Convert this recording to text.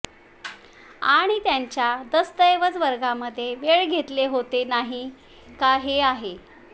आणि त्याच्या दस्तऐवज वर्गामध्ये वेळ घेतले होते नाही का आहे